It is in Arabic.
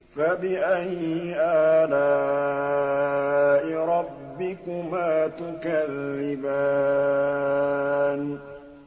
فَبِأَيِّ آلَاءِ رَبِّكُمَا تُكَذِّبَانِ